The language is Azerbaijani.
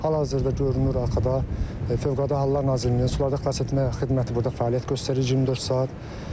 Hal-hazırda görünür arxada Fövqəladə Hallar Nazirliyinin sularda xilasetmə xidməti burda fəaliyyət göstərir 24 saat.